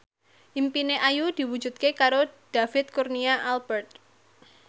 impine Ayu diwujudke karo David Kurnia Albert